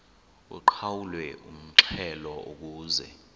uqhawulwe umxhelo ukuze